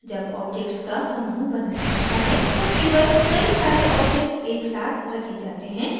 जब objects का समूह बनाया जाता है तो केवल कई सारे objects एक साथ रखे जाते हैं